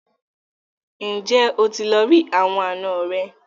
Ǹjẹ́ o ti lọ rí àwọn àna rẹ?